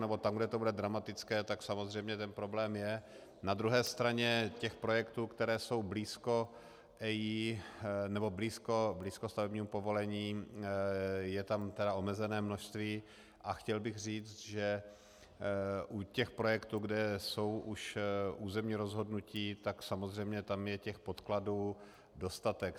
Nebo tam, kde to bude dramatické, tak samozřejmě ten problém je, na druhé straně těch projektů, které jsou blízko EIA nebo blízko stavebnímu povolení, je tam tedy omezené množství, a chtěl bych říct, že u těch projektů, kde jsou už územní rozhodnutí, tak samozřejmě tam je těch podkladů dostatek.